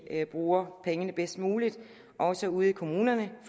bruger pengene bedst muligt også ude i kommunerne